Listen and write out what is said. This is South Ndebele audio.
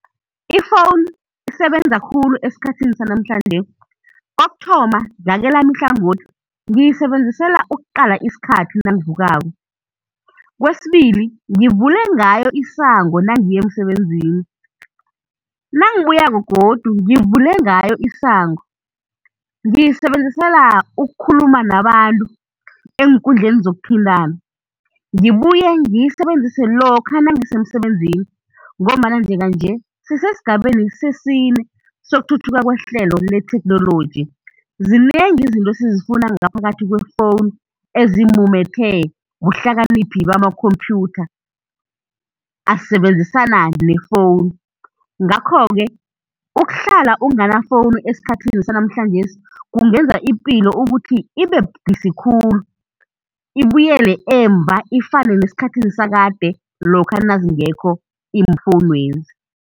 Ifowunu isebenza khulu esikhathini sanamhlanje, kokuthoma ngakelami ihlangothi ngiyisebenzisela ukuqala isikhathi nangivukako. Kwesibili, ngivule ngayo isango nangiya emsebenzini, nangibuyako godu ngivule ngayo isango. Ngiyisebenzisela ukukhuluma nabantu eenkundleni zokuthintana, ngibuye ngiyisebenzise lokha nangisemsebenzini ngombana njenga-nje sisesigabeni sesine sokuthuthuka kwehlelo letheknoloji. Zinengi izinto esizifuna ngaphakathi kwefowunu, ezimumethwe buhlakaniphi bamakhomphyutha asebenzisana nefowunu. Ngakho-ke ukuhlala unganafowunu esikhathini sanamhlanjesi kungenza ipilo ukuthi ibe budisi khulu, ibuyele emuva ifane nesikhathini sakade lokha nazingekho iimfowunezi.